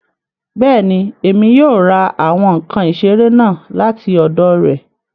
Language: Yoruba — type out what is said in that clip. Bẹ́ẹ̀ni, Emi yóò ra awọn nkan isere naa lati ọdọ rẹ